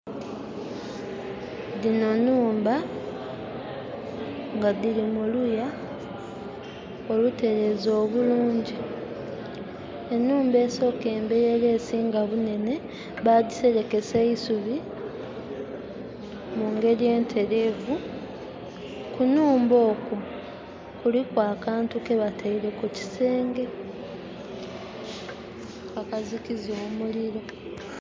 Dhino nhumba nga dhili mu luya olutereeze obulungi. Enhumba esooka emberi era esinga bunene, bagiserekesa eisubi mungeri entereevu. Kunhumba okwo kuliku akantu kebataile kukisenge, akazikiza omuliro.